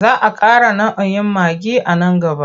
Za a ƙara nau'in maggi a nan gaba.